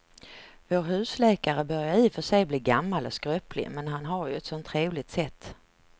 Vår husläkare börjar i och för sig bli gammal och skröplig, men han har ju ett sådant trevligt sätt!